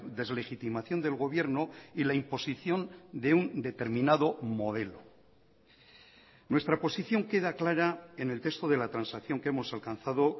deslegitimación del gobierno y la imposición de un determinado modelo nuestra posición queda clara en el texto de la transacción que hemos alcanzado